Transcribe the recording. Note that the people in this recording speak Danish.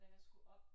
Og da jeg skulle op